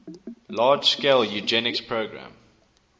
large scale eugenics program